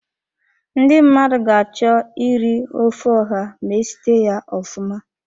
Ndi mmadụ ga-achọ iri ofe ọha ma esite ya ofụma.